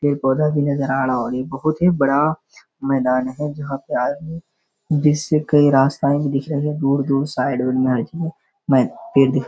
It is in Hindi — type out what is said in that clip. पेड़-पौधा भी नजर आ रहा है और ये बहुत ही बड़ा मैदान है जहाँ पे आज भी जिससे कई रास्ता भी दिख रहें हैं। दूर-दूर साइड बढियां इसमें पेड़ दिख --